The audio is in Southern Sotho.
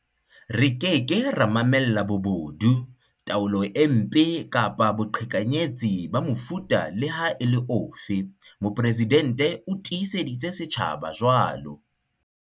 "Re ke ke ra mamella bobodu, taolo e mpe kapa boqhekanyetsi ba mofuta le ha e le ofe", Mopresidente o tiiseditse setjhaba jwalo.